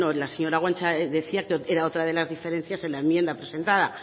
la señora guanche decía que era otra de las diferencias en la enmienda presentada